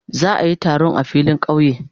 Za a yi taron a filin kauye.